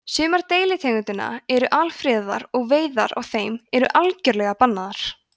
sumar deilitegundanna eru alfriðaðar og veiðar á þeim eru algjörlega bannaðar